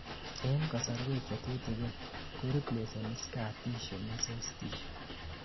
en kasorwek chetutugin ,ko replaseni scar tissue muscle tissue